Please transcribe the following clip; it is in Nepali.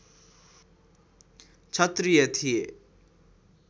क्षत्रिय थिए